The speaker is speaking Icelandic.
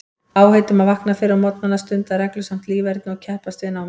Áheit um að vakna fyrr á morgnana, stunda reglusamt líferni og keppast við námið.